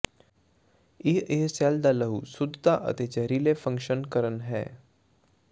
ਇਹ ਇਹ ਸੈੱਲ ਦਾ ਲਹੂ ਸ਼ੁੱਧਤਾ ਅਤੇ ਜ਼ਹਿਰੀਲੇ ਦੇ ਫੰਕਸ਼ਨ ਕਰਨ ਹੈ